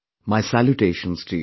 My salutations to you